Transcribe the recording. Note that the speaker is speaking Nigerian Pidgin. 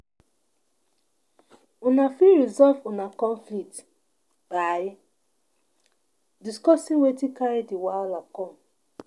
Una fit resolve una conflict by discussing wetin carry di wahala come